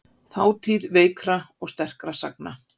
Þátíð veikra og sterkra sagna.